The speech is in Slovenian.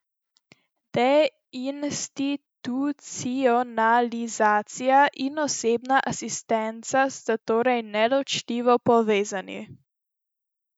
Deinstitucionalizacija in osebna asistenca sta torej neločljivo povezani.